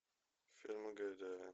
фильмы гайдая